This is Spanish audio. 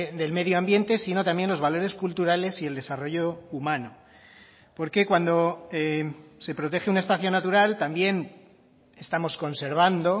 del medio ambiente sino también los valores culturales y el desarrollo humano porque cuando se protege un espacio natural también estamos conservando